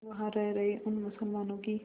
वहां रह रहे उन मुसलमानों की